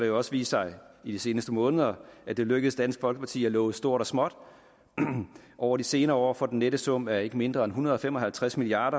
jo også vist sig i de seneste måneder at det er lykkedes dansk folkeparti at love stort og småt over de senere år for den nette sum af ikke mindre end en hundrede og fem og halvtreds milliard